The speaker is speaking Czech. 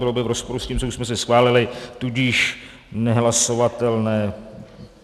Bylo by v rozporu s tím, co už jsme si schválili, tudíž nehlasovatelné.